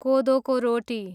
कोदोको रोटी